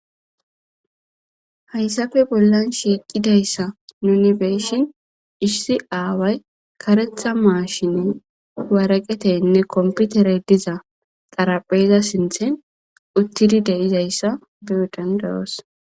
hayssafe bollan shiiqidayssa nuni be'ishin issi aaway karetha maashine waraqatenne komputere diza xarapheza sinthen uttidi de'izayssa beyo dandayoos